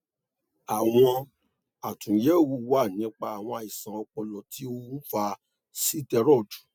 àwọn àtúnyẹwò wà nípa àwọn àìsàn ọpọlọ tí ó ń fa sitẹriọdu